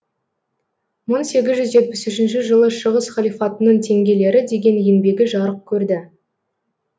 мың сегіз жүз жетпіс үшінші жылы шығыс халифатының теңгелері деген еңбегі жарық көрді